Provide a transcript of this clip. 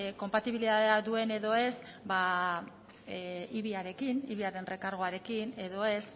konpatibilitatea duen ala ez ibi arekin ibi aren errekargoarekin edo ez